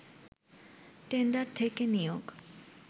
tender থেকে নিয়োগ